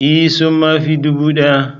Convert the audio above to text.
Ee! sun ma fi dubu daya.